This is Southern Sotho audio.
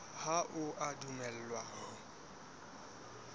ha o a dumellwa ho